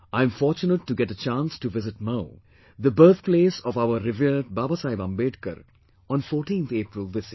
I am fortunate to get the chance to visit Mhow, the birthplace of our revered Baba Saheb Ambedkar, on 14th April this year